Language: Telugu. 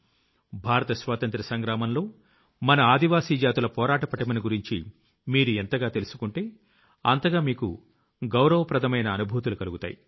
భారత స్వాతంత్ర్య సంగ్రామంలో మన ఆదివాసీ జాతుల పోరాట పటిమను గురించి మీరు ఎంతగా తెలుసుకుంటే అంతగా మీకు గౌరవప్రదమైన అనుభూతులు కలుగుతాయి